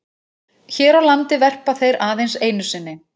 Hér á landi verpa þeir aðeins einu sinni.